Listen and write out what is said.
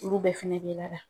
Olu bɛ finɛngeya la